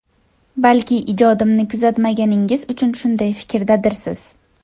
Balki ijodimni kuzatmaganingiz uchun shunday fikrdadirsiz?!